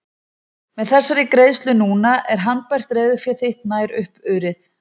Með þessari greiðslu núna er handbært reiðufé þitt nær upp urið.